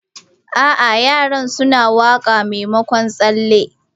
A'a, yara suna waƙa maimakon tsalle.